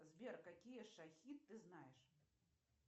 сбер какие шахи ты знаешь